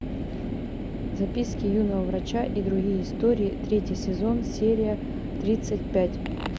записки юного врача и другие истории третий сезон серия тридцать пять